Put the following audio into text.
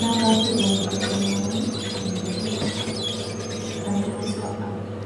napashu toonkulupo naaku nejatiu teng'asu abulu.